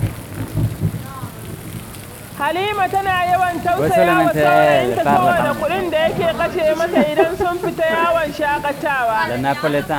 Halima tana yawan tausaya wa saurayinta saboda kuɗin da yake kashe mata idan sun fita yawon shaƙatawa.